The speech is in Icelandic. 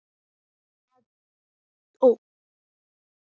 Margrét Pála og Lilja.